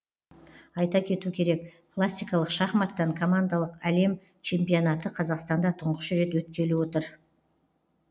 айта кету керек классикалық шахматтан командалық әлем чемпионаты қазақстанда тұңғыш рет өткелі отыр